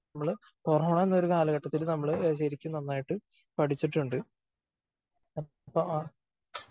നമ്മള് കൊറോണ എന്ന കാലഘട്ടത്തില് നമ്മള് ശരിക്കും നന്നായിട്ട് പടിച്ചിട്ടുണ്ട്.